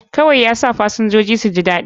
Kawai yasa fasinjoji suji daɗi